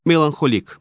Melanxolik.